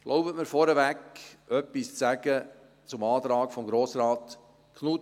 Ich erlaube mir, vorab etwas zu sagen zum Antrag von Grossrat Knutti.